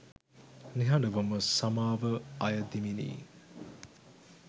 නිහඬවම සමාව අයදිමිනි.